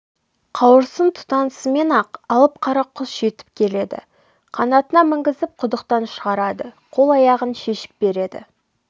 қауырсын тұтанысымен-ақ алып қара құс жетіп келеді қанатына мінгізіп құдықтан шығарады қол-аяғын шешіп береді